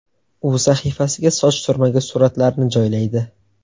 U sahifasiga soch turmagi suratlarini joylaydi .